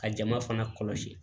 Ka jama fana kɔlɔsi